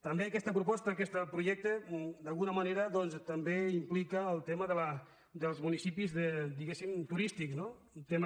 també aquesta proposta aquest projecte d’alguna manera doncs també implica el tema dels municipis diguéssim turístics no un tema